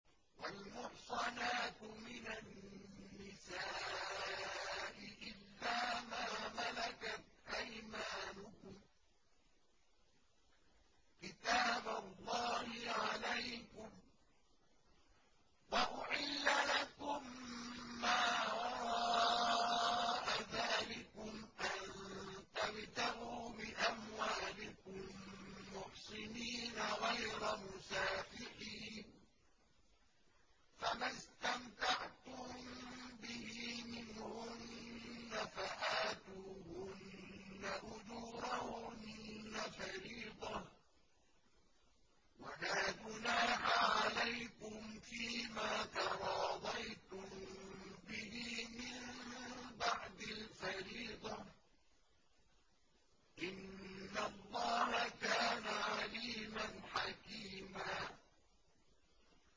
۞ وَالْمُحْصَنَاتُ مِنَ النِّسَاءِ إِلَّا مَا مَلَكَتْ أَيْمَانُكُمْ ۖ كِتَابَ اللَّهِ عَلَيْكُمْ ۚ وَأُحِلَّ لَكُم مَّا وَرَاءَ ذَٰلِكُمْ أَن تَبْتَغُوا بِأَمْوَالِكُم مُّحْصِنِينَ غَيْرَ مُسَافِحِينَ ۚ فَمَا اسْتَمْتَعْتُم بِهِ مِنْهُنَّ فَآتُوهُنَّ أُجُورَهُنَّ فَرِيضَةً ۚ وَلَا جُنَاحَ عَلَيْكُمْ فِيمَا تَرَاضَيْتُم بِهِ مِن بَعْدِ الْفَرِيضَةِ ۚ إِنَّ اللَّهَ كَانَ عَلِيمًا حَكِيمًا